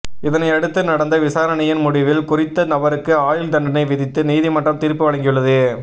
இதனையடுத்து நடந்த விசாரணையின் முடிவில் குறித்த நபருக்கு ஆயுள் தண்டனை விதித்து நீதிமன்றம் தீர்ப்பு வழங்கியுள்ளது